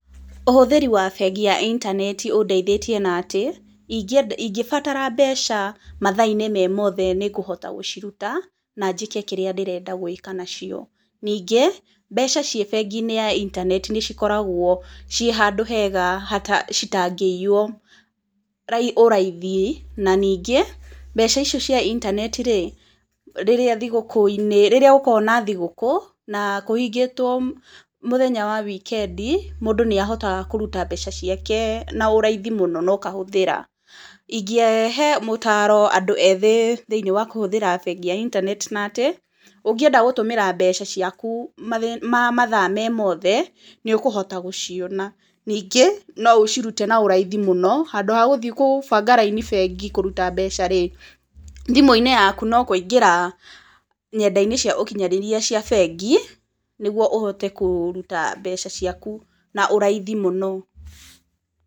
Ũhũthĩri wa bengi ya intaneti ũndeithitie na atĩ, ingĩbatara mbeca mathaa-inĩ me mothe nĩ ngũhota gũciruta, na njĩke kĩrĩa ndĩrenda gũĩka nacio, ningĩ, mbeca ciĩ bengi-inĩ ya intaneti nĩ cikoragwo ciĩ handu hega citangĩiywo ũraithi. Na ningĩ, mbeca icio cia intaneti rĩ, rĩrĩa thigũkũ-inĩ, rĩrĩa gũkoragwo na thigũkũ na kũhingitwo mũthenya wa weekend mũndũ nĩ ahotaga kũruta mbeca ciake na ũraithi mũno na ũkahũthĩra. ĩngĩhe maũtaro andũ ethĩ thĩiniĩ wa kũhũthĩra bengi ya intaneti na atĩ, ũngĩenda gũtũmĩra mbeca ciaku mathaa me mothe, nĩ ũkũhota gũciona, ningĩ, no ũcirute na ũraithi mũno handũ ha gũthiĩ gũbanga raini bengi kũruta mbeca rĩ, thimũ-inĩ yaku no kũingĩra ny\enda-ini cia ũkinyanĩria cia bengi, nĩguo ũhote kũruta mbeca ciaku na ũraithi mũno.